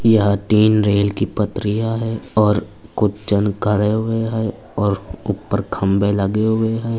यह तीन रेल की पटरियां है और कुछ जन खड़े हुए हैं और ऊपर खम्बे लगे हुए हैं।